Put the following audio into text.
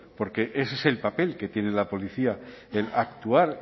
porque ese es el papel que tiene la policía el actuar